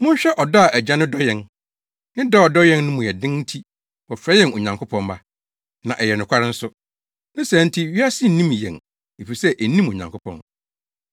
Monhwɛ ɔdɔ a Agya no dɔ yɛn. Ne dɔ a ɔdɔ yɛn no mu den nti wɔfrɛ yɛn Onyankopɔn mma. Na ɛyɛ nokware nso. Ne saa nti wiase nnim yɛn efisɛ ennim Onyankopɔn.